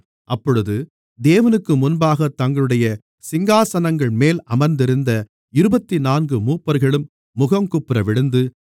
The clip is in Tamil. அப்பொழுது தேவனுக்கு முன்பாகத் தங்களுடைய சிங்காசனங்கள்மேல் அமர்ந்திருந்த இருபத்துநான்கு மூப்பர்களும் முகங்குப்புறவிழுந்து